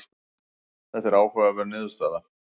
þetta er áhugaverð niðurstaða